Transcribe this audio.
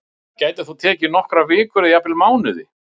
Það getur þó tekið nokkrar vikur eða jafnvel mánuði.